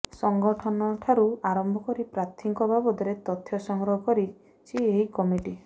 ସଙ୍ଗଠନଠାରୁ ଆରମ୍ଭ କରି ପ୍ରାର୍ଥୀଙ୍କ ବାବଦରେ ତଥ୍ୟ ସଂଗ୍ରହ କରିଛି ଏହି କିମିଟି